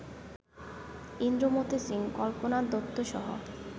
Indramati Singh, Kalpana দত্তসহ